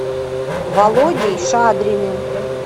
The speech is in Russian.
володей шадриным